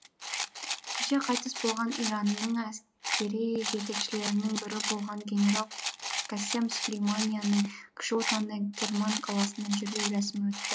кеше қайтыс болған иранның әскери жетекшілерінің бірі болған генерал кассем сүлейманияның кіші отаны керман қаласында жерлеу рәсімі өтті